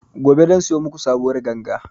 Gobe zan siyo maku sabuwar ganga